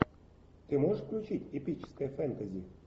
ты можешь включить эпическое фэнтези